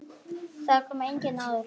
Þangað kom enginn áður.